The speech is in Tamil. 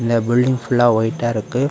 நெறையா பில்டிங் புல்லா ஒயிட்டா இருக்கு.